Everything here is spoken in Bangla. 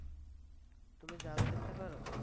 তুমি জাল ফেলতে পারো?